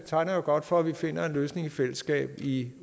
tegner jo godt for at vi finder en løsning i fællesskab i